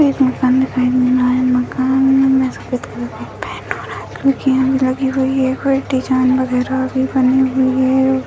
एक मकान दिखाई दे रहा है | मकान में सफ़ेद कलर की पेंट हो रहा है क्योंकी रंग लगी हुई है कोई डिज़ाइन वगेरा भी बनी हुई है |